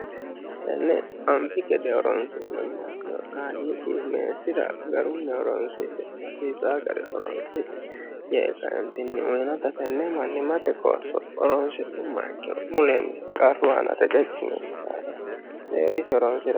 tenne anfi gede horonsi'nni umaikkiro qaliigi meesira garunmeoronsie hasiisa gari horonsixe yee kaintinni uyinota tenne manni mate qoosso oronsi'nu mayikkino mulenni qarru aana rececci nenni laafe seeriisi horonro